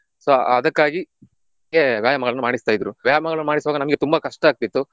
So ಅದಕ್ಕಾಗಿ ನಮ್ಗೆ ವ್ಯಾಯಾಮಗಳನ್ನು ಮಾಡಿಸ್ತಾ ಇದ್ರು. ವ್ಯಾಯಾಮಗಳನ್ನು ಮಾಡಿಸುವಾಗ ನಮ್ಗೆ ತುಂಬ ಕಷ್ಟಾಗ್ತಿತ್ತು.